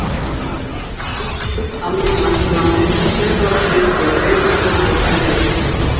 Geðlæknar ljúka fyrst almennu læknanámi en sérhæfa sig svo í greiningu og meðferð geðsjúkdóma.